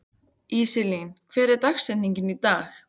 Íselín, hver er dagsetningin í dag?